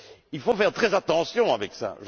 Il faut faire très attention avec cela.